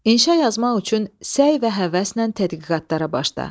İnşa yazmaq üçün səy və həvəslə tədqiqatlara başla.